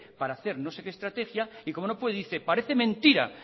para hacer no sé qué estrategia y como no puede dice parece mentira